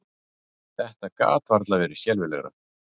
Þetta gat varla verið skelfilegra!